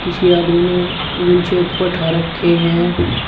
छे आदमी ने गुच्छे ऊपर उठा रखे है।